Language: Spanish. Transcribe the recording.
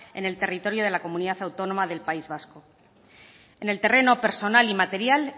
en el territorio de la comunidad autónoma del país vasco en el terreno personal y material